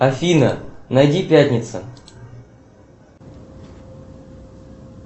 афина найди пятница